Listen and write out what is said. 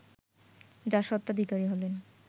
যার স্বত্বাধিকারী হলেন